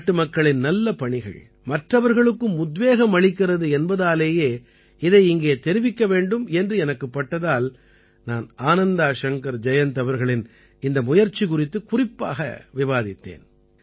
நாட்டுமக்களின் நல்ல பணிகள் மற்றவர்களுக்கும் உத்வேகம் அளிக்கிறது என்பதாலேயே இதை இங்கே தெரிவிக்க வேண்டும் என்று எனக்குப் பட்டதால் நான் ஆனந்தா ஷங்கர் ஜயந்த் அவர்களின் இந்த முயற்சி குறித்துக் குறிப்பாக விவாதித்தேன்